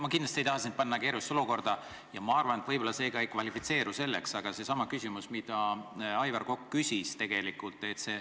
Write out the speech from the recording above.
Ma kindlasti ei taha sind panna keerulisse olukorda ja ma arvan, et võib-olla see ka ei kvalifitseeru selleks, aga küsin sedasama, mida Aivar Kokk küsis.